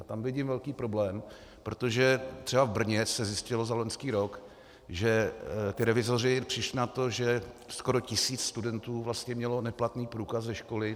A tam vidím velký problém, protože třeba v Brně se zjistilo za loňský rok, že ti revizoři přišli na to, že skoro tisíc studentů vlastně mělo neplatný průkaz ze školy.